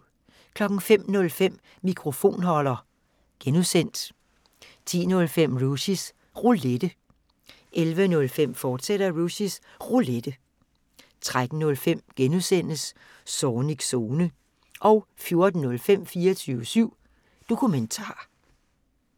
05:05: Mikrofonholder (G) 10:05: Rushys Roulette 11:05: Rushys Roulette, fortsat 13:05: Zornigs Zone (G) 14:05: 24syv Dokumentar